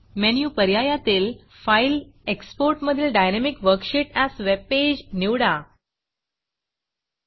menu पर्यायातील file export मधील dynamic worksheet as webpage dynamic worksheet as webpage निवडा